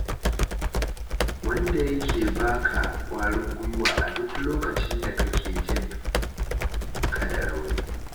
Wanda yake ba ka ƙwarin gwiwa a duk lokacin da kake jin ka da rauni.